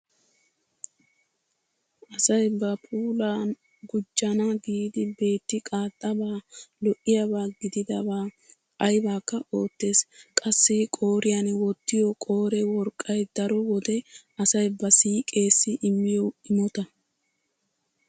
Asay ba puulaa gujjana giidi beetti qaaxxabaa lo'iyaba gididaba aybakka oottees. Qasai qooriyan wottiyo qoore worqqay daro wode asay ba siiqeesi immiyo imota.